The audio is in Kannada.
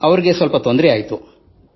ಅವರಿಗೆ ಸ್ವಲ್ಪ ತೊಂದರೆಯಾಗಿತ್ತು